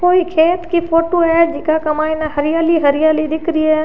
कोई खेत की फोटो है जीका के मायने हरियाली ही हरियाली दिख रही है।